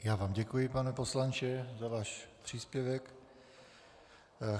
Já vám děkuji, pane poslanče, za váš příspěvek.